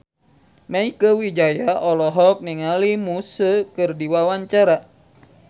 Mieke Wijaya olohok ningali Muse keur diwawancara